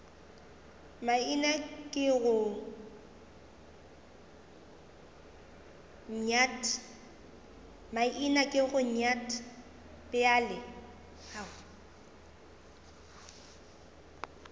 maina ke go nyat bjale